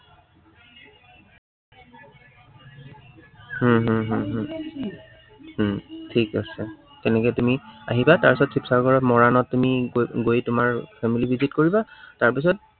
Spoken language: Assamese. উম হম হম হম উম ঠিক আছে, তেনেকে তুমি আহিবা। তাৰপিছত শিৱসাগৰত মৰাণত তুমি গৈ গৈ তোমাৰ family কৰিবা তাৰপিছত